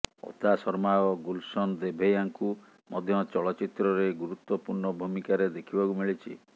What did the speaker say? ଅଦା ଶର୍ମା ଓ ଗୁଲଶନ ଦେଭୈୟାଙ୍କୁ ମଧ୍ୟ ଚଳଚ୍ଚିତ୍ରରେ ଗୁରୁତ୍ୱପୂର୍ଣ୍ଣ ଭୂମିକାରେ ଦେଖିବାକୁ ମିଳିଛି